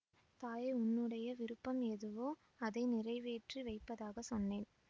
தாயே உன்னுடைய விருப்பம் எதுவோ அதை நிறைவேற்றி வைப்பதாகச் சொன்னேன்